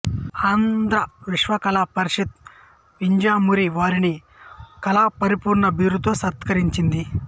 ఆంధ్ర విశ్వకళా పరిషత్ వింజమూరి వారిని కళాప్రపూర్ణ బిరుదంతో సత్కరించింది